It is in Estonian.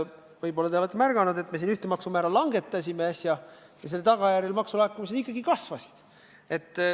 Võib-olla te olete märganud, et me hiljuti ühte maksumäära langetasime ja selle tulemusel maksulaekumine kasvas.